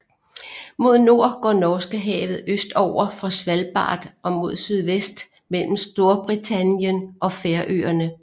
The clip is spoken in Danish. Mod nord går Norskehavet østover fra Svalbard og mod sydvest mellem Storbritannien og Færøerne